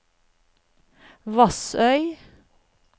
Vassøy